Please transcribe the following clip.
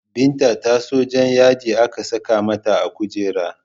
Binta ta so Jan yadi aka saka mata a kujera